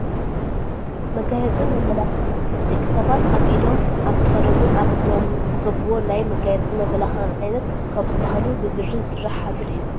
መጋየፅን መመላኽዕን፡- ደቂ ሰባት ኣብ ኢዶም፣ ኣብ ክሳዶምን ኣብ እግሮም ዝገብርዎ ናይ መጋየፅን መመላኽዕን ዓይነት ካብ ዝባሃሉ ብብሪ ዝስራሕ ሃብል እዩ፡፡